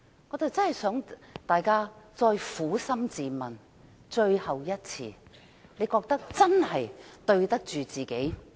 我希望大家能最後一次撫心自問，是否真的覺得對得起自己？